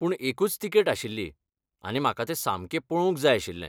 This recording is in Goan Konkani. पूण एकूच तिकेट आशिल्ली, आनी म्हाका तें सामकें पळोवंक जाय आशिल्लें.